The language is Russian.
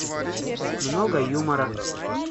много юмора